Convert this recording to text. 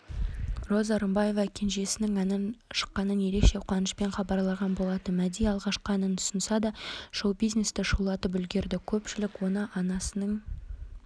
роза рымбаева кенжесінің әнін шыққанын ерекше қуанышпен хабарлаған болатын мәди алғашқы әнін ұсынса да шоу бизнесті шулатып үлгерді көпшілік оны анасының